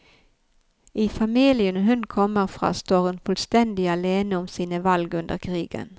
I familien hun kommer fra, står hun fullstendig alene om sine valg under krigen.